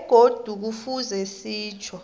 begodu kufuze sitjho